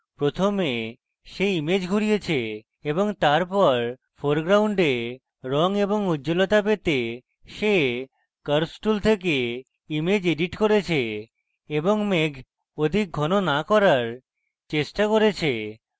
প্রথমে সে image ঘুরিয়েছে এবং তারপর foreground রঙ এবং উজ্জলতা পেতে সে curves tool থেকে image এডিট করেছে এবং মেঘ অধিক ঘন না করার চেষ্টা করেছে